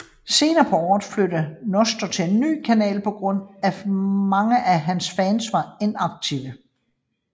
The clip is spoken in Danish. Senere på året flyttede Nestor til en ny kanal på grund af at mange af hans fans var inaktive